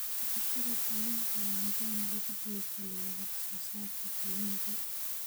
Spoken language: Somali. Dhaqashada kalluunka waa nidaam lagu dhiirigaliyo wax soo saarka kalluunka.